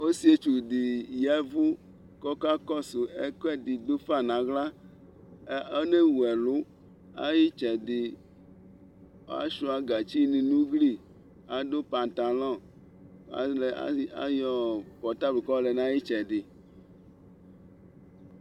Ɔsɩetsu ɖɩ ƴa ɛvʋ ƙʋ ɔƙaƙɔsʋ ɛƙʋɛɖɩ ɖʋ fa nʋ aɣla :onewu ɛlʋ, aƴʋ ɩtsɛɖɩ, asʋɩa gatsi nʋ ugli Aɖʋ patalɔ ƙʋ aƴɔ pɔrtable ƙʋ aƴɔ lɛ nʋ aƴʋ ɩtsɛɖɩ